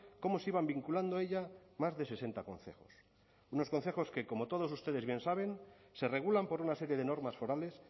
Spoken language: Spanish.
cómo se iban vinculando a ella más de sesenta concejos unos consejos que como todos ustedes bien saben se regulan por una serie de normas forales